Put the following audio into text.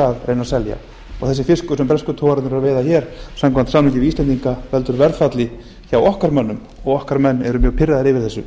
að reyna að selja og þessi fiskur sem bresku togararnir eru að veiða hér samkvæmt samningi við íslendinga veldur verðfalli hjá okkar mönnum og okkar menn eru mjög pirraðir yfir þessu